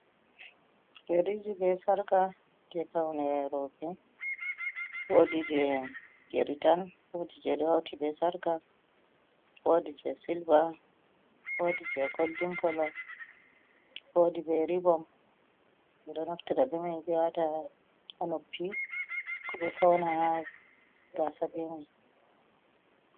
Yeriiji be sarka jey pawne rowɓe. Woodi jey yeri tan ,woodi jey hawti be sarka, woodi jey silver ,woodi je goldin kolo, woodi be ribom, ɓe ɗo naftira be man, ɓe waata a noppi ko ɓe fawna a gaasa be may.